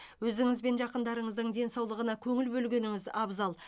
өзіңіз бен жақындарыңыздың денсаулығына көңіл бөлгеніңіз абзал